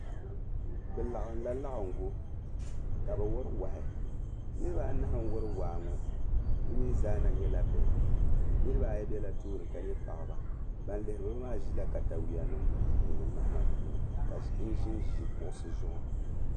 Bɛ laɣinla laɣiŋgu ka bɛ wari wahi. Niriba anahi n-wari waa ŋɔ bɛ mi zaa na yɛla bihi. Niriba ayi bela tooni ka nyɛ paɣiba. Ban lihiri ba maa ʒila takayua mahima puuni n-ʒinʒi kuɣisi zuɣu.